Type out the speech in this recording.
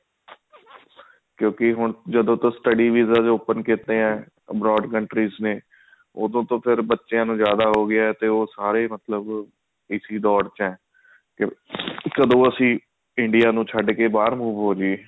ਕਿਉਂਕਿ ਹੁਣ ਜਦੋਂ ਤੋਂ studies visa open ਕਿਤੇ ਨੇ abroad countries ਨੇ ਓਦੋਂ ਤੋਂ ਫ਼ੇਰ ਬੱਚਿਆਂ ਨੂੰ ਜਿਆਦਾ ਹੋਗਿਆ ਤੇ ਉਹ ਸਾਰੇ ਮਤਲਬ ਇਸੀ ਡੋਰ ਚ ਆ ਕੇ ਕਦੋਂ India ਨੂੰ ਛੱਡ ਕੇ ਬਾਹਰ move ਹੋ ਜਾਈਏ